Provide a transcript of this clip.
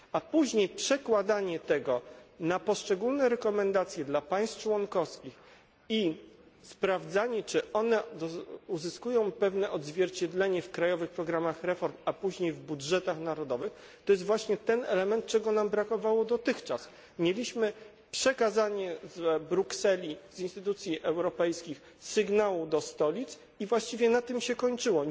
Później przekłada się to na poszczególne zalecenia dla państw członkowskich i sprawdza, czy uzyskują one pewne odzwierciedlenie w krajowych programach reform, a później w budżetach narodowych to jest właśnie ten element, którego nam dotychczas brakowało przekazywano z Brukseli, z instytucji europejskich, sygnał do stolic i właściwie na tym się kończyło.